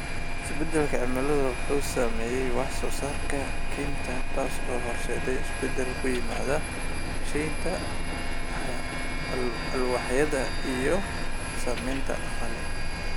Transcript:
Isbeddelka cimiladu waxa uu saameeyaa wax soo saarka kaynta, taas oo horseedaysa isbeddel ku yimaada sahayda alwaaxyada iyo saamaynta dhaqaale.